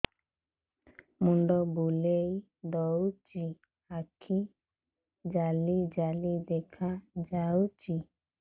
ମୁଣ୍ଡ ବୁଲେଇ ଦଉଚି ଆଖି ଜାଲି ଜାଲି ଦେଖା ଯାଉଚି